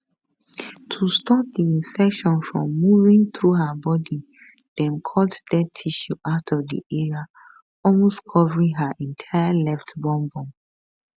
to stop di infection from moving through her body dem cut dead tissue out of di area almost covering her entire left bum bum